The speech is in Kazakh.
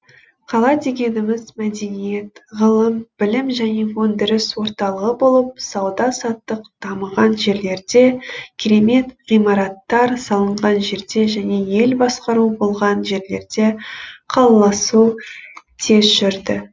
қала дегеніміз мәдениет ғылым білім және өндіріс орталығы болып сауда саттық дамыған жерлерде керемет ғимараттар салынған жерде және ел басқару болған жерлерде қалаласу тез жүрді